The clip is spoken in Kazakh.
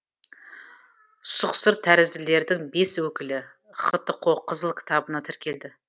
сұқсыртәрізділердің бес өкілі хтқо қызыл кітабына тіркелді